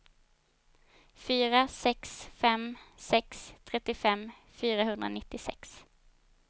fyra sex fem sex trettiofem fyrahundranittiosex